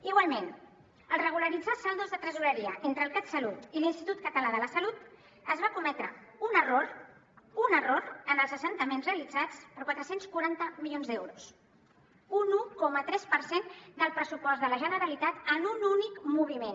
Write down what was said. igualment al regularitzar saldos de tresoreria entre el catsalut i l’institut català de la salut es va cometre un error un error en els assentaments realitzats per quatre cents i quaranta milions d’euros un un coma tres per cent del pressupost de la generalitat en un únic moviment